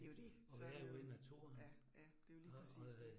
Det jo det, så det jo, ja, ja det jo lige præcis det